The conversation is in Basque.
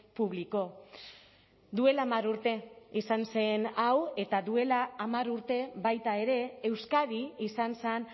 publicó duela hamar urte izan zen hau eta duela hamar urte baita ere euskadi izan zen